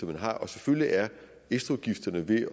man har og selvfølgelig er ekstraudgifterne ved